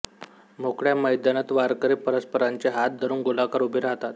मोकळ्या मैदानात वारकरी परस्परांचे हात धरून गोलाकार उभे राहतात